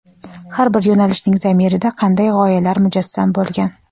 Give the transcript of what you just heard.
Har bir yo‘nalishning zamirida qanday g‘oyalar mujassam bo‘lgan?.